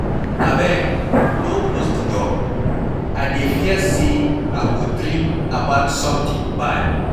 Abeg no close the door, I dey fear say I go dream about something bad